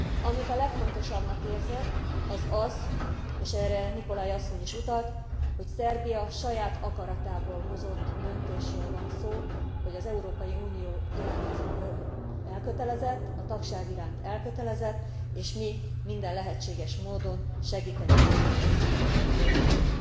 Amit a legfontosabbnak érzek, az az és erre Nicolai asszony is utalt hogy Szerbia saját akaratából hozott döntésről van szó, hogy az Európai Unió iránt elkötelezett, a tagság iránt elkötelezett, és mi minden lehetséges módon segíteni fogjuk ezt a folyamatot.